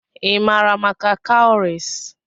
Ị maara maka cowries?